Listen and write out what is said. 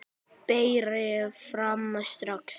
Berið fram strax.